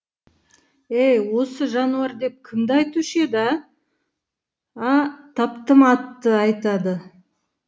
ей осы жануар деп кімді айтушы еді ә ә таптым атты айтады